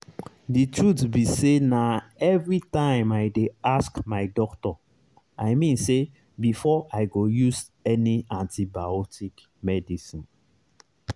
the truth be sayna everytime i dey ask my doctor i mean say before i go use any antibiotic medicine.